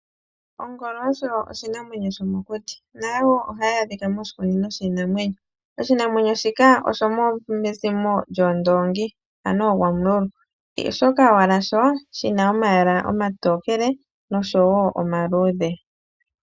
Ongolo osho oshinamwenyo shomokuti. Nayo wo ohayi adhika moshikunino shiinamwenyo. Oshinamwenyo shika oshomezimo lyoondoongi, ano ooGwamululu. Oshoka owala sho shi na omayala omatokele nosho wo omaluudhe.